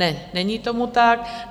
Ne, není tomu tak.